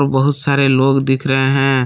बहुत सारे लोग दिख रहे है।